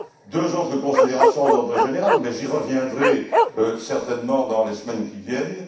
Deux autres considérations d'ordre général, mais j'y reviendrai certainement dans les semaines qui viennent.